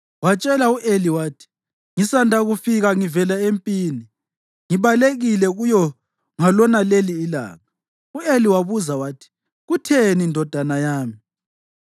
Watshela u-Eli wathi, “Ngisanda kufika ngivela empini; ngibalekile kuyo ngalonaleli ilanga.” U-Eli wabuza wathi, “Kutheni ndodana yami?”